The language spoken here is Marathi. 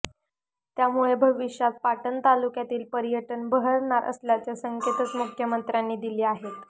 त्यामुळे भविष्यात पाटण तालुक्यातील पर्यटन बहरणार असल्याचे संकेतच मुख्यमंत्र्यांनी दिले आहेत